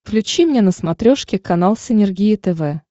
включи мне на смотрешке канал синергия тв